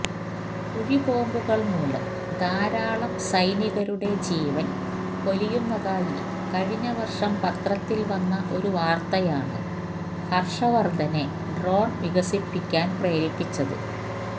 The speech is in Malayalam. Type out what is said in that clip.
കുഴിബോംബുകൾ മൂലം ധാരാളം സൈനികരുടെ ജീവൻ പൊലിയുന്നതായി കഴിഞ്ഞ വർഷം പത്രത്തിൽവന്ന ഒരു വാർത്തയാണ് ഹർഷവർദ്ധനെ ഡ്രോൺ വികസിപ്പിക്കാൻ പ്രേരിപ്പിച്ചത്